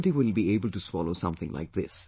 Nobody will be able to swallow something like this